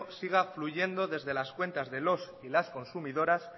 siga fluyendo desde las cuentas de los y las consumidoras